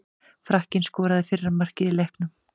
Frakkinn skoraði fyrra markið í leiknum.